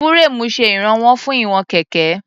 Fúréèmù ṣe ìránwọ́ fún ìwọ̀n kẹ̀kẹ́.